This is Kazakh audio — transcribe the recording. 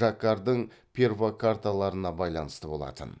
жаккардың перфокарталарына байланысты болатын